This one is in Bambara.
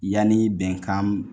Yani bɛnkan m